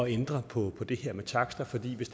ændre på det her med taksterne for hvis